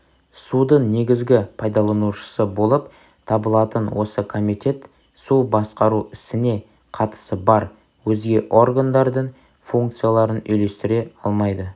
судың негізгі пайдаланушысы болып табылатын осы комитет су басқару ісіне қатысы бар өзге органдардың функцияларын үйлестіре алмайды